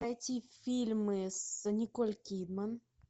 найти фильмы с николь кидман